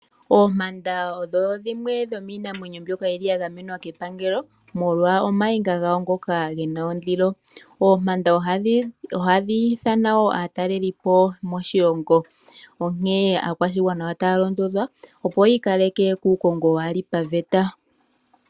Oompanda odho dhimwe dhomiinamwenyo mbyoka ya gamenwa kepangelo molwa omainga gawo ngoka ge na ondilo. Oompanda ohadhi hili aatalelipo moshilongo nonkene aakwashigwana ota londodhwa opoyi ikaleke kukongo wali paveta.